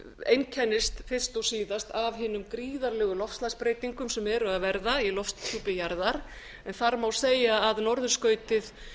einkennist fyrst og síðast af hinum gríðarlegu loftslagsbreytingum sem eru að verða í lofthjúpi jarðar en þar má segja að norðurskautið